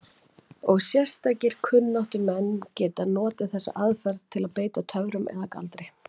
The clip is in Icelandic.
Og sérstakir kunnáttumenn geta notað þessa aðferð til að beita töfrum eða galdri.